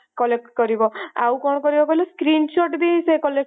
collect କରିବ ଆଉ କଣ କରିବ କହିଲ screenshot ବି ସେ collect କରିପାରିବ ମାନେ ତମେ